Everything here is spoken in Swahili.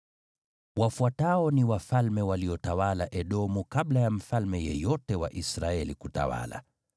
Wafuatao ni wafalme waliotawala Edomu kabla ya mfalme yeyote wa Israeli kutawala: